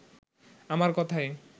আমার কথাই